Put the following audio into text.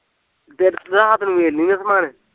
ਦਿਲ ਇਹਦਾ ਮਤਲਬ ਮਿਲ ਲੀਓ ਸਮਾਨ